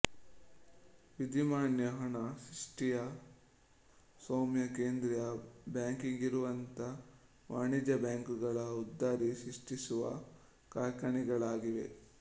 ವಿಧಿಮಾನ್ಯ ಹಣ ಸೃಷ್ಟಿಯ ಸ್ವಾಮ್ಯ ಕೇಂದ್ರೀಯ ಬ್ಯಾಂಕಿಗಿರುವಂತೆ ವಾಣಿಜ್ಯ ಬ್ಯಾಂಕುಗಳ ಉದ್ದರಿ ಸೃಷ್ಟಿಸುವ ಕಾರ್ಖಾನೆಗಳಾಗಿವೆ